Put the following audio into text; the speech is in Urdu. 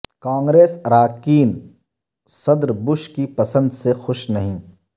کانگریس اراکین صدر بش کی پسند سے خوش نہیں